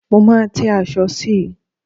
Mo máa tẹ́ aṣọ sí i.